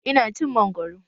Ina cin mangoro.